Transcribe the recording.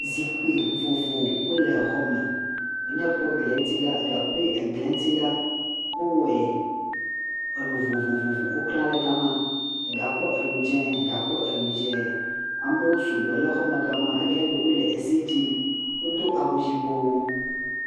Ŋutsu tsitsi woame etɔ, wotɔ ɖe tsiaƒo to henɔ ze ɖom. Ŋutsua me eve wo bla agba ɖe woƒe me, ŋutsua me eve wodo awu dzɛ, ɖeka ƒe awu dzɛa, enu ʋi nɔ eme eye wotɔ nɔ nu ƒom.